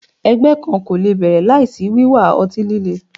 Ẹgbẹ kan ko le bẹrẹ laisi wiwa ọti-lile